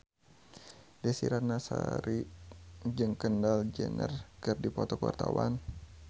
Desy Ratnasari jeung Kendall Jenner keur dipoto ku wartawan